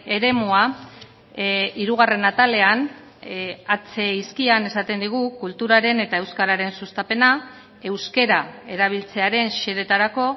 eremua hirugarren atalean h hizkian esaten digu kulturaren eta euskararen sustapena euskara erabiltzearen xedeetarako